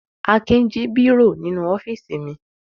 Akin jí bírò nínú ọ́fíísì mi.